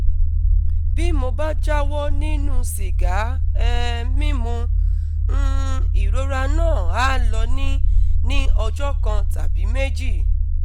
bí mo bá jáwọ́ nínú sìgá um mímu, um ìrora náà á lọ ní ní ọjọ́ kan tàbí méjì